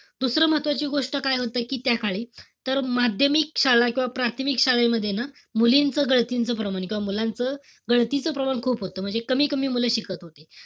दुसरं महत्वाची गोष्ट काय होतं, कि त्याकाळी, तर माध्यमिक शाळा किंवा प्राथमिक शाळेमध्ये ना, मुलींचं गळतीच प्रमाण. किंवा मुलांचं गळतीच प्रमाण खूप होतं. म्हणजे कमी-कमी मुलं शिकत होती.